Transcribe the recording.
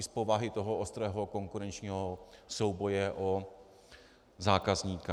I z povahy toho ostrého konkurenčního souboje o zákazníka.